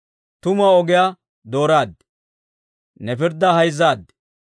Tumuwaa ogiyaa dooraad; ne pirddaa hayzzaad.